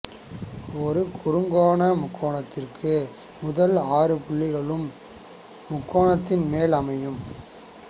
ஒரு குறுங்கோண முக்கோணத்திற்கு முதல் ஆறு புள்ளிகளும் முக்கோணத்தின் மேல் அமையும்